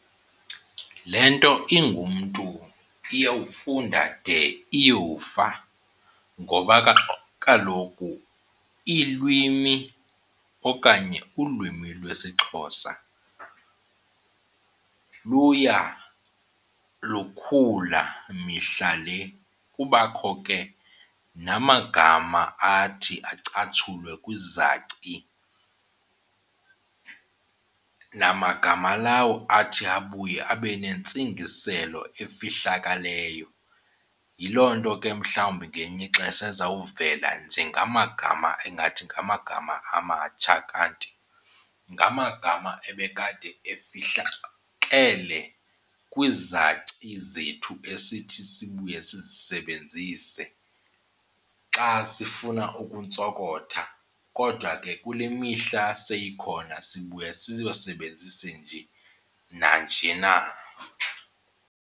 Le nto ingumntu iyawufunda de iyofa ngoba kaloku iilwimi okanye ulwimi lwesiXhosa luya lukhula mihla le. Kubakho ke namagama athi acatshulwe kwizaci namagama lawo athi abuye abe nentsingiselo efihlakaleyo. Yiloo nto ke mhlawumbi ngelinye ixesha azawuvela njengamagama engathi ngamagama amatsha kanti ngamagama ebekade efihlakele kwizaci zethu esithi sibuye sizisebenzise xa sifuna ukuntsokotha, kodwa ke kule mihla seyikhona sibuya siwasebenzise nje nanje na.